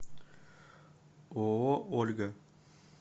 ооо ольга